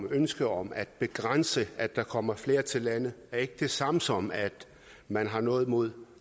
et ønske om at begrænse at der kommer flere til landet er ikke det samme som at man har noget imod